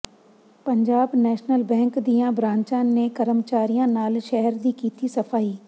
Punjab national bank ਦੀਆਂ ਬ੍ਰਾਂਚਾਂ ਨੇ ਕਰਮਚਾਰੀਆਂ ਨਾਲ ਸ਼ਹਿਰ ਦੀ ਕੀਤੀ ਸਫ਼ਾਈ